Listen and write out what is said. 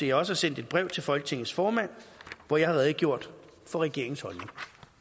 jeg også har sendt et brev til folketingets formand hvori jeg har redegjort for regeringens holdning